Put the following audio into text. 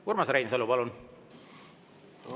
Urmas Reinsalu, palun!